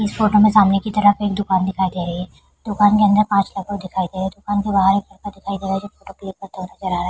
इस फोटो में सामने की तरफ एक दुकान दिखाई दे रही है दुकान के अंदर पांच लोग दिखाई दे दुकान के बाहर एक लड़का दिखाई दे रहा है जो फोटो क्लिक करते हुए नजर आ रहा है।